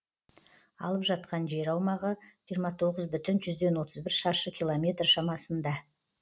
алып жатқан жер аумағы жиырма тоғыз бүтін жүзден отыз бір шаршы километр шамасында